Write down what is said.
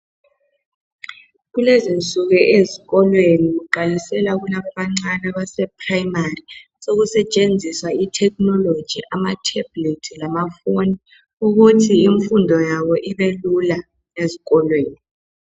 Kulezinsuku ezikolweni kuqalisela kulaba abancane abasase primary sokusetshenziswa ithekhinoloji amathebhulathi lamafoni ukuthi imfundo yabo ibelula ezikolweni